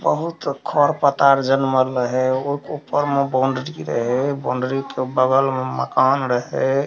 बहुत खर-पतार जनमल रहे ओय के ऊपर में बाउंड्री रहे बाउंड्री के बगल में मकान रहे।